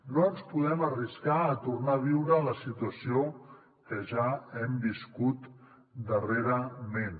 no ens podem arriscar a tornar a viure la situació que ja hem viscut darrerament